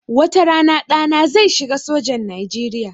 Wata rana ɗana zai shiga sojan Nijeriya